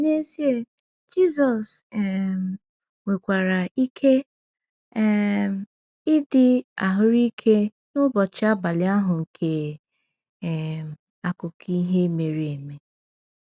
N’ezie, Jisọs um nwekwara ike um ịdị ahụ́rụ ike n’ụbọchị abalị ahụ nke um akụkọ ihe mere eme.